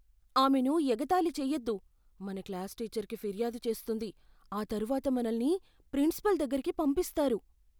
ఆమెను ఎగతాళి చేయొద్దు. మన క్లాస్ టీచర్కి ఫిర్యాదు చేస్తుంది, ఆ తర్వాత మనల్ని ప్రిన్సిపాల్ దగ్గరికి పంపిస్తారు.